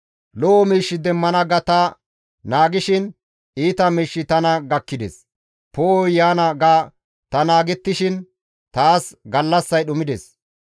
Lo7o miish demmana ga ta naagishin iita miishshi tana gakkides; poo7oy yaana ga ta naagettishin taas gallassay dhumides.